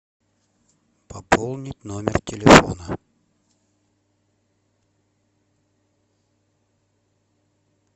пополнить номер телефона